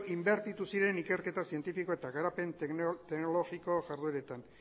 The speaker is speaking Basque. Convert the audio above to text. inbertitu ziren ikerketa zientifiko eta garapen teknologiko jardueretan